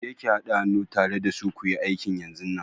Je ki hada hannu tare da su kuyi aikin yanzunnan!